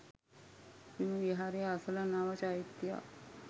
මෙම විහාරය අසළ නව චෛත්‍යයක්